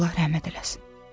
Allah rəhmət eləsin.